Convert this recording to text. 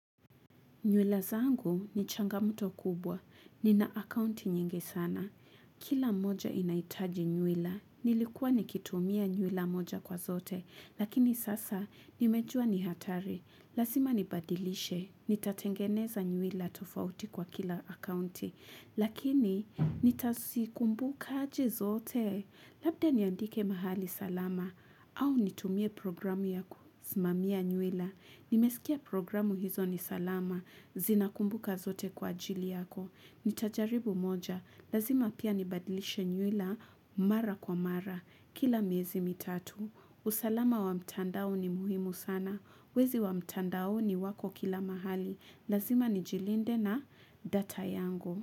Nywila zangu ni changamoto kubwa. Nina akaunti nyingi sana. Kila moja inaitaji nywila. Nilikuwa nikitumia nywila moja kwa zote. Lakini sasa nimejua ni hatari. Lazima nibadilishe. Nitatengeneza nywila tofauti kwa kila akaunti. Lakini nitasikumbukaji zote. Labda niandike mahali salama, au nitumie programu yakusimamia nywila. Nimesikia programu hizo ni salama, zinakumbuka zote kwa ajili yako. Nitajaribu moja, lazima pia nibadilishe nywila, mara kwa mara, kila miezi mitatu. Usalama wa mtandao ni muhimu sana, wezi wa mtandaoni wako kila mahali, lazima nijilinde na data yangu.